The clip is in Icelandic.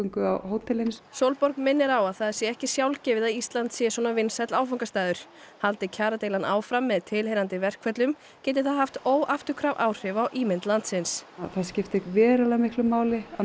hótelin Sólborg minnir á að það sé ekki sjálfgefið að Ísland sé svona vinsæll áfangastaður haldi kjaradeilan áfram með tilheyrandi verkföllum geti það haft óafturkræf áhrif á ímynd landsins það skiptir verulega miklu máli að